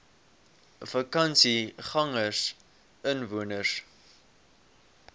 vakansiegangersinwoners